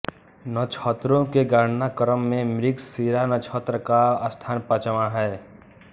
नक्षत्रों के गणना क्रम में मृगशिरा नक्षत्र का स्थान पांचवां है